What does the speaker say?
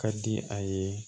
Ka di a ye